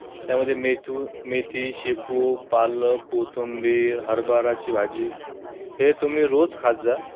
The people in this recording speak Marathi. त्यामध्ये मेथू~ मेथी, शेपू, पालक, कोथिंबीर, हरभऱ्याची भाजी हे तुम्ही रोज खात जा.